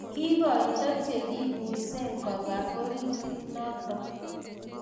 Kikoitoi chekibuse kobo oritit nitok.